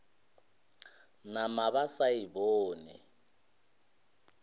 nama ba sa e bone